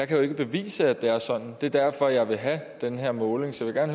kan bevise at det er sådan det er derfor jeg vil have den her måling så jeg